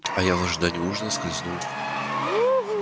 а я в ожидании ужина скользнул